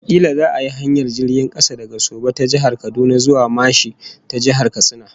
Kila za'a yi hanyar jirgin kasa daga Soba ta Jihar Kaduna zuwa Mashi ta Jihar Katsina